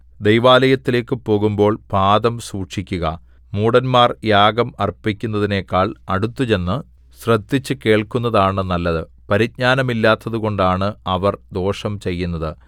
ദൈവാലയത്തിലേക്ക് പോകുമ്പോൾ പാദം സൂക്ഷിക്കുക മൂഢന്മാർ യാഗം അർപ്പിക്കുന്നതിനെക്കാൾ അടുത്തുചെന്നു ശ്രദ്ധിച്ച് കേൾക്കുന്നതാണ് നല്ലത് പരിജ്ഞാനമില്ലാത്തതുകൊണ്ടാണ് അവർ ദോഷം ചെയ്യുന്നത്